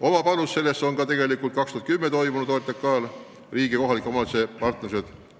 Oma panuse sellesse on andnud aastal 2010 toimunud OTRK arutelu riigi ja kohalike omavalitsuste partnerlusest.